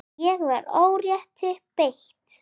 Ég var órétti beitt.